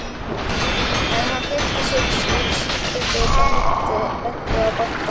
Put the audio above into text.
Hann kveikti sér í sígarettu og benti á Badda.